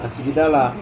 A sigida la